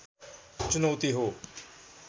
चुनौती हो